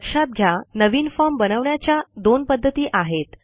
लक्षात घ्या नवीन फॉर्म बनवण्याच्या दोन पध्दती आहेत